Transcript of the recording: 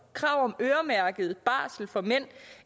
krav om øremærket barsel for mænd